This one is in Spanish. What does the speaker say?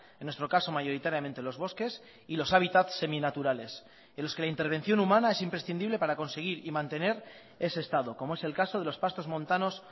en nuestro caso mayoritariamente los bosques y los hábitats seminaturales en los que la intervención humana es imprescindible para conseguir y mantener ese estado como es el caso de los pastos montanos